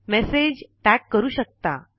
message tag करू शकता